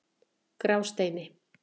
Grásteini